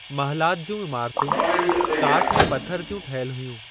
महलात जूं इमारतूं काठ ऐं पथरु जूं ठहियल हुयूं।